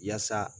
Yaasa